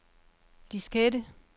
diskette